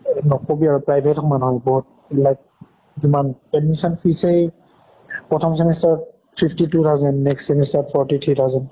অৰ নকʼবি আৰু private সমান হয় বহুত like কিমান admission fees য়েই প্ৰথম semester ত fifty two thousand next semester ত forty three thousand